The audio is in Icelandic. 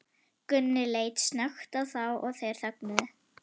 Gunni leit snöggt á þá og þeir þögnuðu.